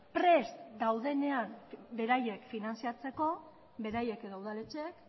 prest daudenean beraiek finantziatzeko beraiek edo udaletxeek